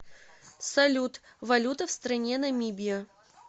салют валюта в стране намибия